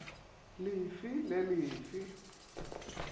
le fe le le fe